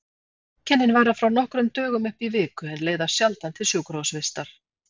Einkennin vara frá nokkrum dögum upp í viku en leiða sjaldan til sjúkrahúsvistar.